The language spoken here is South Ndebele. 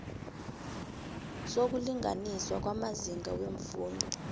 sokulinganiswa kwamazinga weemfundo